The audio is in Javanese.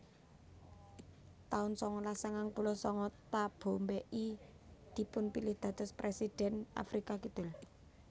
taun sangalas sangang puluh sanga Thabo Mbeki dipun pilih dados presiden Afrika Kidul